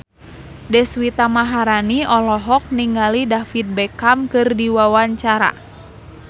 Deswita Maharani olohok ningali David Beckham keur diwawancara